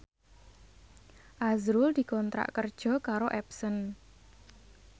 azrul dikontrak kerja karo Epson